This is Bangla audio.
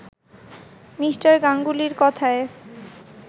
মি. গাঙ্গুলির কথায়